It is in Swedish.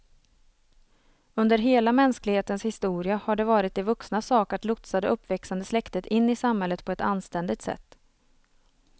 Under hela mänsklighetens historia har det varit de vuxnas sak att lotsa det uppväxande släktet in i samhället på ett anständigt sätt.